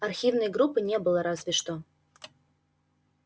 архивной группы не было разве что